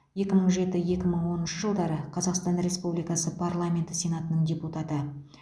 екі мың жеті екі мың оныншы жылдары қазақстан республикасы парламенті сенатының депутаты